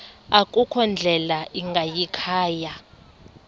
akukho ndlela ingayikhaya